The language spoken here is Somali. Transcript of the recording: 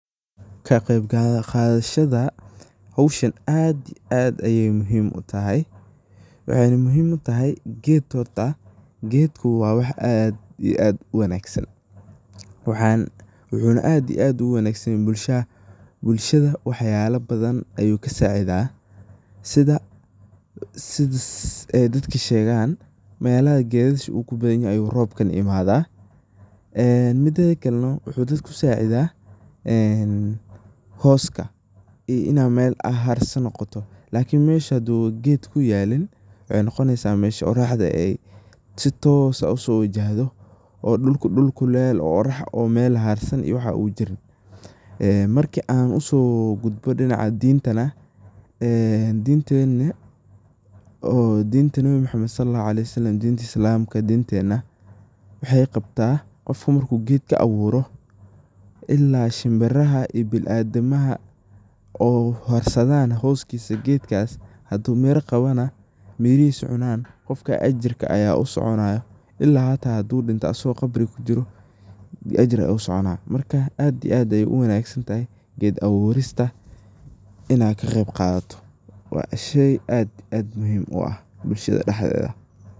Ka qeyb qadashada howshan aad iyo aad ayey muhim u tahay. Waxayna muhim u tahay ged horta waa wax aad iyo aad u muhim san ,wuxuna aad iyo aad ugu muhim sanyahay bulshada wax yalo badan ayu kasacida ,sidha dadka shegan melaha gedasha u ku badan yihin uu robku imada ,midedha kale noh wuxu dadka ku sacidha hooska iyu ina mel harso noqoto, lakin mesha hadu ged kuyalin waxey noqonesa iney oraxda si toos ah uso wajahdo oo dhulku dhul kulel oo orax oo mel laharsan u jirin ,marka an usoo gudbaan dhinaca dintana oo dintena dinta Nabii Muhammad SAW Oo dinta Islamka waxey qabta qofka marku gedka aburo ila shimbiraha iyo biniadamaha harsadhan hoskisa gedkas , hadu miraa qawana, mirahisu cunan qofkas ajirka aya usoconaya ila hita hadu dhinto ,asago khabri kujiro ajir aya ogasoconaya marka aad iyo aad ayey u wanagsantahay ,ged aburista inaad ka qeyb qadato waa sheey aad iyo aad muhim u ah, bulshada daxdedha.